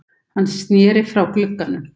Hann sneri sér frá glugganum.